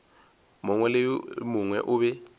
mongwe le mongwe o be